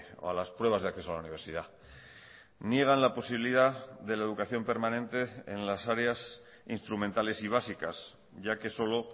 o a las pruebas de acceso a la universidad niegan la posibilidad de la educación permanente en las áreas instrumentales y básicas ya que solo